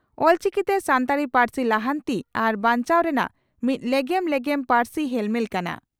ᱚᱞᱪᱤᱠᱤᱛᱮ ᱥᱟᱱᱛᱟᱲᱤ ᱯᱟᱹᱨᱥᱤ ᱞᱟᱦᱟᱱᱛᱤ ᱟᱨ ᱵᱟᱧᱪᱟᱣ ᱨᱮᱱᱟᱜ ᱢᱤᱫ ᱞᱮᱜᱮᱢ ᱞᱮᱜᱮᱢ ᱯᱟᱹᱨᱥᱤ ᱦᱮᱞᱢᱮᱞ ᱠᱟᱱᱟ ᱾